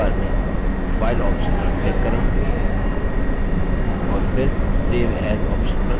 तो menu bar में file option पर click करें और फिर save as option पर click करें